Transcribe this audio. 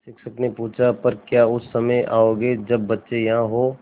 शिक्षक ने पूछा पर क्या उस समय आओगे जब बच्चे यहाँ हों